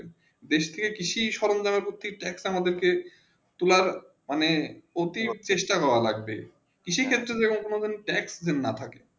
দেশকে কৃষি সারন্থী ট্যাক্স তা আমাদের তুলার অনেক অতিচেষ্টা লাগছে কৃষি ক্ষেত্রে কোনো ট্যাক্স দেন থাকে